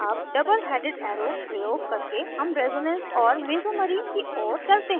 double double headed arrow प्रयोग करके हम resonance और mesomery की ओर चलते हैं